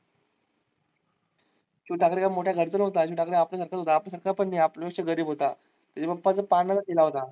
शिव ठाकरे काय मोठ्या घराचा न्हवता शिव ठाकरे आपल्या सारखाच होता. आपल्यासारखा पण नाही आपल्यापेक्षा पण गरीब होता. त्याच्या पप्पाचा पानचा ठेला होता.